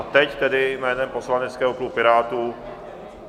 A teď tedy jménem poslaneckého klubu Pirátů...